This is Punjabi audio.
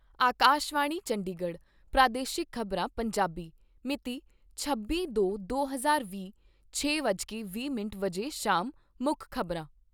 ਆਕਾਸ਼ਵਾਣੀ ਚੰਡੀਗੜ੍ਹ ਪ੍ਰਾਦੇਸ਼ਿਕ ਖ਼ਬਰਾਂ , ਪੰਜਾਬੀ ਮਿਤੀ ਛੱਬੀ ਦੋ ਦੋ ਹਜ਼ਾਰ ਵੀਹ, ਛੇ ਵੱਜ ਕੇ ਵੀਹ ਮਿੰਟ ਸ਼ਾਮ ਮੁੱਖ ਖ਼ਬਰਾਂ